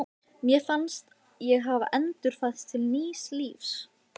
Mér fannst ég hafa endurfæðst til nýs lífs.